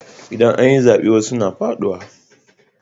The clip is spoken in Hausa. Idan an yi zaɓe wasu suna faɗuwa.